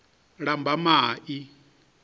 lambamai